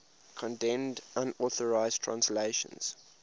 condemned unauthorized translations